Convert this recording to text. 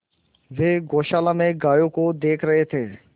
वे गौशाला में गायों को देख रहे थे